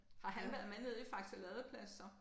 Har han været med nede i Faxe Ladeplads så?